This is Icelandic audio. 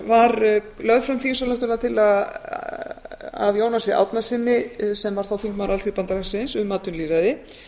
var lögð fram þingsályktunartillaga af jónasi árnasyni sem var þá þingmaður alþýðubandalagsins um atvinnulýðræði